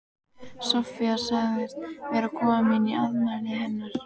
Soffía sagðist vera komin í afmælið hennar